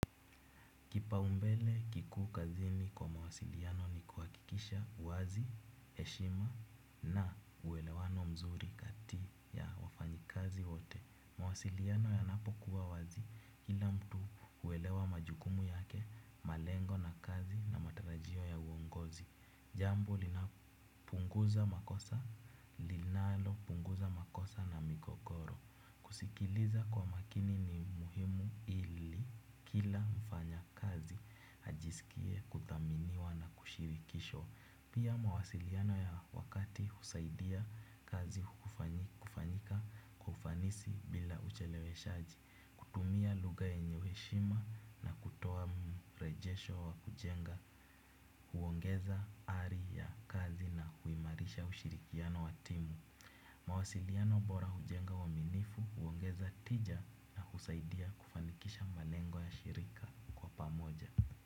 Kipaumbele kikuu kazini kwa mawasiliano ni kuhakikisha uwazi, heshima na uwelewano mzuri kati ya wafanyi kazi wote. Mawasiliano yanapokuwa wazi, kila mtu huelewa majukumu yake, malengo na kazi na matarajio ya uongozi. Jambo lina punguza makosa, linalo punguza makosa na migogoro. Kusikiliza kwa makini ni muhimu ili kila mfanya kazi ajisikie kuthaminiwa na kushirikishwa. Pia mawasiliano ya wakati husaidia kazi kufanyika kwa ufanisi bila ucheleweshaji. Kutumia lugha yenye heshima na kutoa mrejesho wa kujenga huongeza ari ya kazi na huimarisha ushirikiano wa timu. Mawasiliano bora hujenga uaminifu huongeza tija na husaidia kufanikisha malengo ya shirika kwa pamoja.